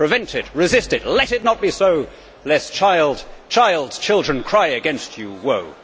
Prevent it, resist it, let it not be so, lest child, child's children cry against you woe!